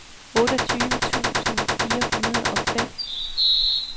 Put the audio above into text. otteogtyve tusind fire hundrede og fem